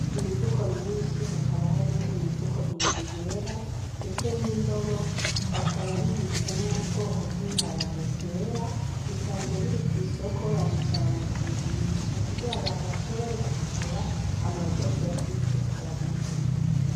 Imifuko myinshi hakaba harimwo imifuko ibiri yera, ndetse n'indobo hakaba bibitsemwo ubwoko bw'ibiharage bwera bisanzwe biri kw'isoko babijanye kubigurisha kugira abantu bashobore kubigura hama bazoshobora kubiteka babirye.